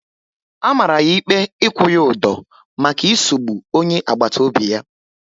A mara ya ikpe ikwu ya udo maka isugbu onye agbata obi ya